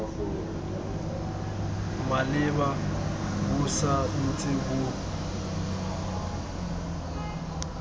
maleba bo sa ntse bo